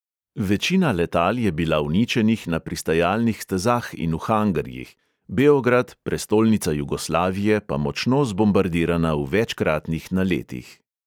Večina letal je bila uničenih na pristajalnih stezah in v hangarjih, beograd, prestolnica jugoslavije, pa močno zbombardirana v večkratnih naletih.